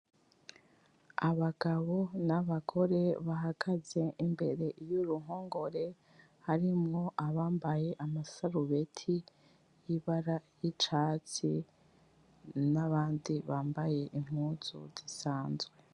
Abagabo n'Abagore bahagaze imbere y'Uruhongore. Harimwo abambaye amasarubeti yibara y'Icatsi, n'abandi bambaye Impuzu zinsanzwe.